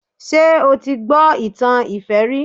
Ṣé o ti gbọ́ ìtàn ìfẹ́ rí?